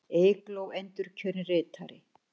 Eygló endurkjörin ritari